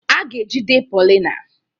A ga-ejide Paulina.